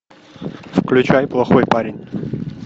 включай плохой парень